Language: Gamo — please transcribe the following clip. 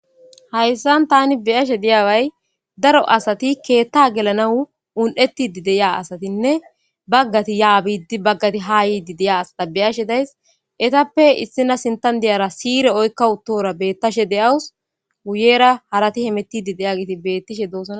Hayisan tani beyashe diyaway daro asati keetta gelanau un'ettidi deya asatinne baggati yaa biiddi baggati haa yiidi deya asata beyashe days etappe issina sintan diyara siire oykka uttora beettashe deyawus wuyera harati hemettidi deya giti bettishe do'osona